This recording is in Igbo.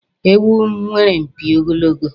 Ewu nwere mpi ogologo